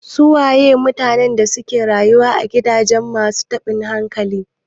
Su waye mutanen da suke rayuwa a gidajen masu taɓin hankali?